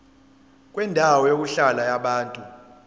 kwendawo yokuhlala yabantu